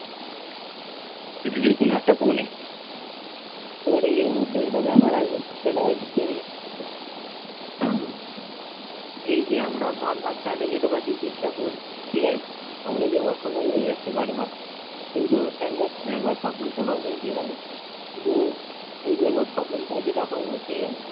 আমি যে অসফল হয়ে যাচ্ছি বারবার কিন্তু একবার না একবার সফল তো হবই ঠিক আছে কিন্তু এই যে একবার সফল টা হবো ঠিক আছে?